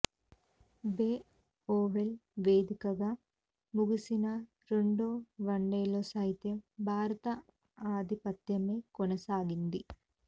బే Oval వేదికగా ముగిసిన రెండో వన్డేలో సైతం భారత ఆధిపత్యమే కొనసాగింది